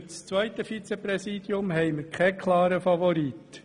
Für das zweite Vizepräsidium haben wir keinen klaren Favoriten.